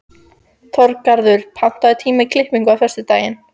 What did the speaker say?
Þorgarður, pantaðu tíma í klippingu á föstudaginn.